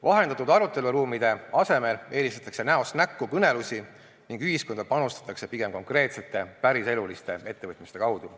Vahendatud aruteluruumide asemel eelistatakse näost näkku kõnelusi ning ühiskonda panustatakse pigem konkreetsete, päriseluliste ettevõtmiste kaudu.